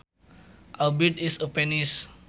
A bird is a penis